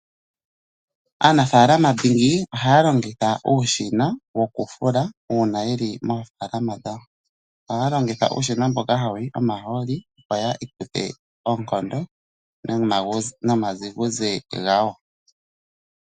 Anafaalama dhingi ohaya longitha uushina woku fula uuna yeli mofaalama dhawo, ohaya longitha uushina mboka hawu yi omahooli ihayi ikuthe ookondo nomadhiguze gawo.